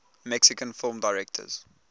mexican film directors